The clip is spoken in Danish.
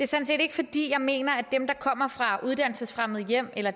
set ikke fordi jeg mener at dem der kommer fra uddannelsesfremmede hjem eller